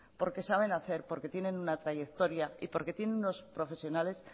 porque saben hacer porque tienen una trayectoria y porque tienen unos profesionales